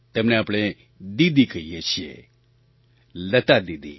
તેમને આપણે દીદી કહીએ છીએ લતા દીદી